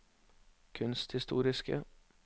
kunsthistoriske